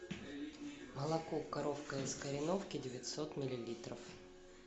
молоко коровка из кореновки девятьсот миллилитров